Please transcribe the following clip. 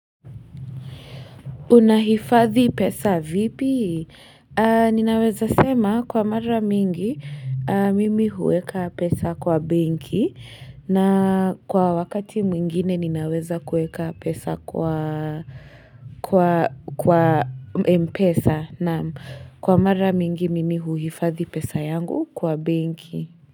Unahifadhi pesa vipi? Ninaweza sema kwa mara mingi mimi huweka pesa kwa benki na kwa wakati mwingine ninaweza kuweka pesa kwa mpesa naam kwa mara mingi mimi huifadhi pesa yangu kwa benki.